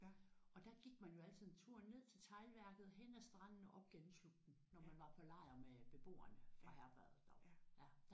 Og der gik man jo altid en tur ned til teglværket hen ad stranden op gennem slugten når man var på lejr med beboerne fra herberget deroppe